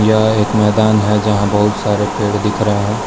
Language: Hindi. यहां एक मैदान है जहां बहुत सारे पेड़ दिख रहे है।